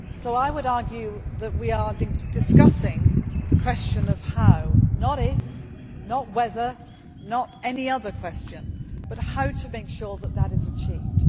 I would argue that we are discussing the question of how not if, not whether, not any other question, but how to make sure that is achieved.